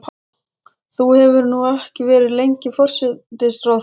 Þú hefur nú ekki verið lengi forsætisráðherra?